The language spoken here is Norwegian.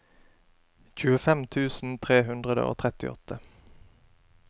tjuefem tusen tre hundre og trettiåtte